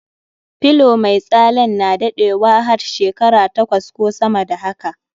Pillow mai tsalen na daɗewa hat shekara takwas ko sama da haka.